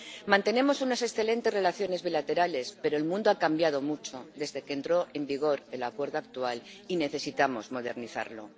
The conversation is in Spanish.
Mantenemos unas excelentes relaciones bilaterales, pero el mundo ha cambiado mucho desde que entró en vigor el Acuerdo actual y necesitamos modernizarlo.